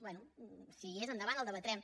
bé si hi és endavant el debatrem